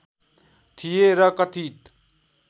थिए र कथित